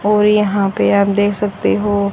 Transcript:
और यहाँ पे आप देख सकते हो--